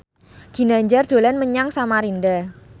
Ginanjar dolan menyang Samarinda